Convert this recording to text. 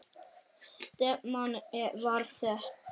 Stefnan var sett.